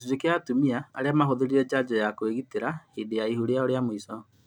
Gĩcunjĩ kĩa atumia arĩa mahũthĩrire Njanjo ya kũĩgitĩra hĩndĩ ya ihu rĩao rĩa mũico